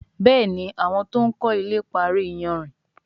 Béèni àwọn to'n kò ilè parí iyanrìn.